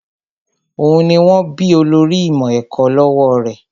Òun ni wón bí olórí ìmọ̀ ẹ̀kọ́ lọ́wọ́ rẹ̀